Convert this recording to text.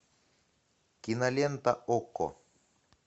кинолента окко